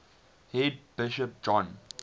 head bishop john